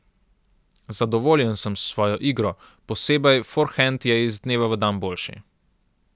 Zadovoljen sem s svojo igro, posebej forhend je iz dneva v dan boljši.